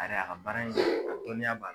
A yɛrɛ a baara in dɔnniya b'a la